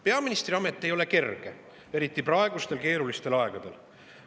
Peaministriamet ei ole kerge, eriti praegustel keerulistel aegadel.